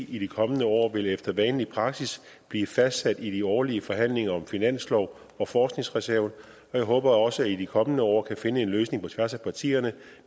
i de kommende år vil efter vanlig praksis blive fastsat i de årlige forhandlinger om finansloven og forskningsreserven og jeg håber også at vi i de kommende år kan finde en løsning på tværs af partierne